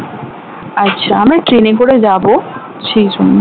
আচ্ছা আমরা ট্রেনে করে যাবো সেইজন্য